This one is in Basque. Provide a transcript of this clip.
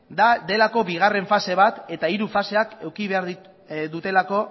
da delako bigarren fase bat eta hiru faseak eduki behar dutelako